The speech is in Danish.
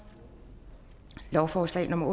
lovforslag nummer